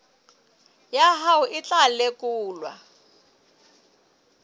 ya hao e tla lekolwa